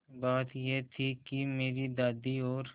बात यह थी कि मेरी दादी और